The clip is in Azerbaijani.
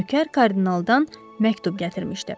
Nökər kardinaldan məktub gətirmişdi.